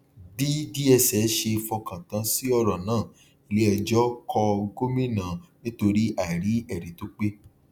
bí dss ṣe fọkàn tán sí ọràn náà iléẹjọ kọ gómìnà nítorí àìrí ẹrí tó pé